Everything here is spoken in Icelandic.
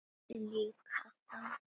Líka þá.